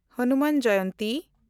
Hanuman Jayanti